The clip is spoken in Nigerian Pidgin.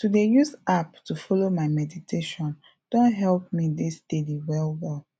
to dey use app to follow my meditation don help me dey steady well well